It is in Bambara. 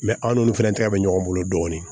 aw n'olu fana tɛgɛ bɛ ɲɔgɔn bolo dɔɔnin